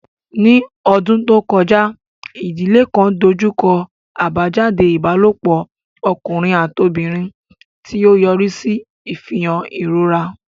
Ní ọdún tó kọjá, ìdílé kan dojú kọ àbájáde ìbálòpọ̀ ọkùnrin àti obìnrin, tí ó yọrí sí ìfihàn ìrora.